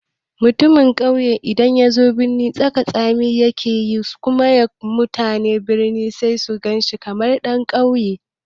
Mutumin ƙauye in yazo birnin taka tsan-tsan yake yi, su kuma mutanen birni sai su gan shi kamar yana ƙauyanci.